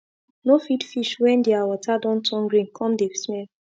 no feed fish wen thier water don turn green come dey smell